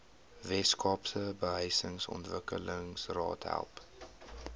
weskaapse behuisingsontwikkelingsraad help